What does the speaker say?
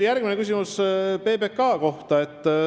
Järgmine küsimus oli PBK kohta.